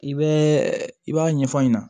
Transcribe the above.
I bɛ i b'a ɲɛfɔ ɲɛna